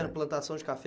Era plantação de café?